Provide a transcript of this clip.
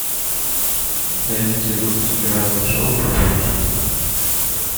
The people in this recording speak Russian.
найдите выпуски разных шоу про путешествия